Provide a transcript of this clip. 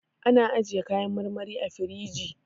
An ajjiye kayan marmari a firinji